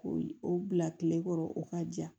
Ko yi o bila kile kɔrɔ o ka ja